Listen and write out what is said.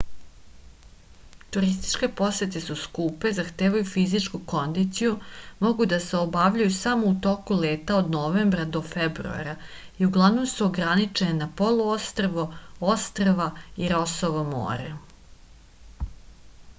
turističke posete su skupe zahtevaju fizičku kondiciju mogu da se obavljaju samo u toku leta od novembra do februara i uglavnom su ograničene na poluostrvo ostrva i rosovo more